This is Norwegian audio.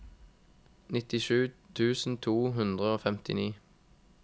nittisju tusen to hundre og femtini